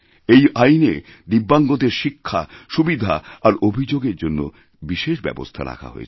এই আইনে দিব্যাঙ্গদেরশিক্ষা সুবিধা আর অভিযোগের জন্য বিশেষ ব্যবস্থা রাখা হয়েছে